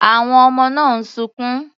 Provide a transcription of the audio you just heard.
Àwọn ọmọ náà ń sunkún.